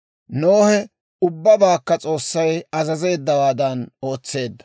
Nohe ubbabaakka S'oossay azazeeddawaadan ootseedda.